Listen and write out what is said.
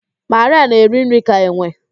Marịa na-eri nri ka enwe